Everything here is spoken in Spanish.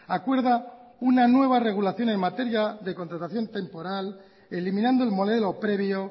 acuerda una nueva regulación en materia de contratación temporal eliminando el modelo previo